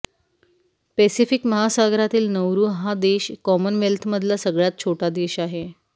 Pacific महासागरातील Nauru हा देश कॉमनवेल्थमधला सगळ्यात छोटा देश आहे